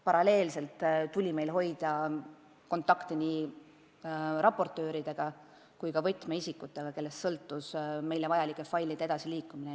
Paralleelselt tuli hoida kontakti nii raportööridega kui ka võtmeisikutega, kellest sõltus meile vajalike failide edasiliikumine.